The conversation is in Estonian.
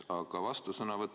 Aga vastusõnavõtt.